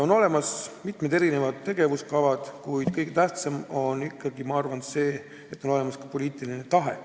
On olemas mitu tegevuskava, kuid kõige tähtsam on minu arvates see, et on olemas ka poliitiline tahe.